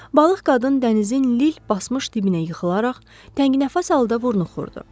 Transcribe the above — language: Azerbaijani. Balıq qadın dənizin lil basmış dibinə yıxılaraq təngnəfəs halda vurnuxurdu.